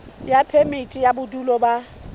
ya phemiti ya bodulo ba